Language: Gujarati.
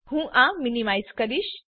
હું આ મીનીમાઈઝ કરીશ